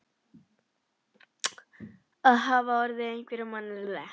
Það hafa orðið einhverjar mannabreytingar á sveitinni?